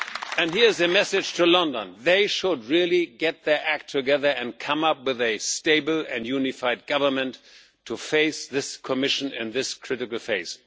And here is a message to London they should really get their act together and come up with a stable and unified government to face this Commission in this critical phase.